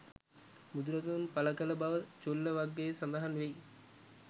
බුදුරදුන් පළ කළ බව චුල්ල වග්ගයේ සඳහන් වෙයි.